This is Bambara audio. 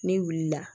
N'i wulila